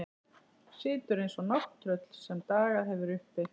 Situr eins og nátttröll sem dagað hefur uppi.